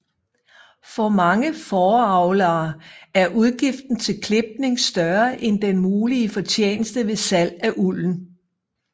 For mange fåreavlere er udgiften til klipning større end den mulige fortjeneste ved salg af ulden